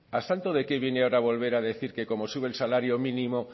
a santo de qué viene ahora volver a decir que como sube el salario mínimo